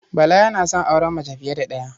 Bala yana son auren mace fiye da ɗaya.